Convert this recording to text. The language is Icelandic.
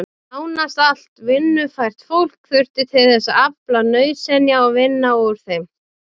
Nánast allt vinnufært fólk þurfti til þess að afla nauðsynja og vinna úr þeim.